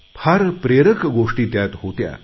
फार प्रेरक गोष्टी त्यात होत्या